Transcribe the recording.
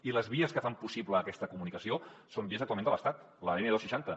i les vies que fan possible aquesta comunicació són vies actualment de l’estat la n dos cents i seixanta